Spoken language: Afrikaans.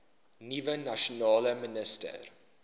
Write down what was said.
nuwe nasionale minister